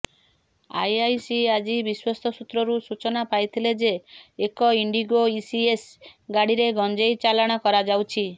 IIC ଆଜି ବିଶ୍ୱସ୍ତ ସୂତ୍ରରୁ ସୂଚନା ପାଇଥିଲେ ଯେ ଏକ ଇଣ୍ଡିଗୋ ଇସିଏସ ଗାଡିରେ ଗଞ୍ଜେଇ ଚାଲାଣ କରାଯାଉଛି